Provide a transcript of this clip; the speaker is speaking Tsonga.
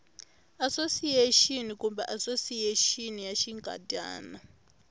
asosiyexini kumbe asosiyexini ya xinkadyana